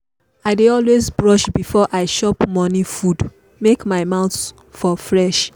i dey always brush before i chop morning food make my mouth for fresh.